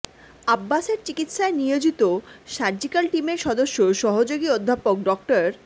আব্বাসের চিকিৎসায় নিয়োজিত সার্জিক্যাল টিমের সদস্য সহযোগী অধ্যাপক ডা